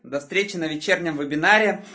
до встречи на вечернем вебинаре